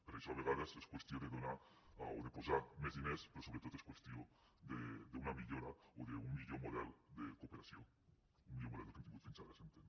per això a vegades és qüestió de posar més diners però sobretot és qüestió d’una millora o d’un millor model de cooperació un millor model que el que hem tingut fins ara s’entén